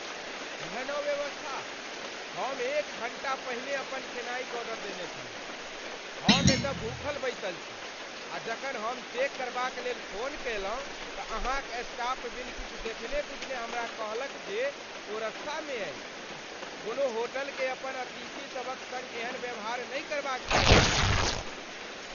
एहन अव्यवस्था? हम एक घण्टा पहिने अपन खेनाइक ऑर्डर देने छलहुँ, हम एतय भूखल बैसल छी। आ जखन हम चेक करबाक लेल फोन कयलहुँ तँ अहाँक स्टाफ बिनु किछु देखने बुझने हमरा कहलक जे ओ रस्तामे अछि। कोनो होटलकेँ अपन अतिथि सभक सङ्ग एहन व्यवहार नहि करबाक चाही।